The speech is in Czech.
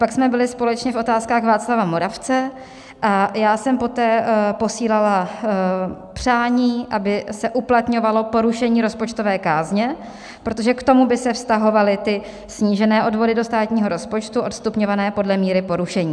Pak jsme byli společně v Otázkách Václava Moravce a já jsem poté posílala přání, aby se uplatňovalo porušení rozpočtové kázně, protože k tomu by se vztahovaly snížené odvody do státního rozpočtu odstupňované podle míry porušení.